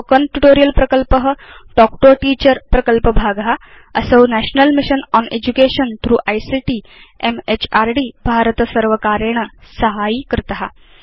Spoken tutorial प्रकल्प talk to a teacher प्रकल्पभाग असौ national mission on education through ICT म्हृद् भारतसर्वकारेण साहाय्यीकृत